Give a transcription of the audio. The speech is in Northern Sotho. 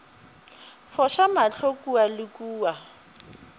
foša mahlo kua le kua